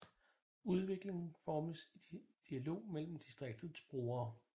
Udviklingen formes i dialog mellem distriktets brugere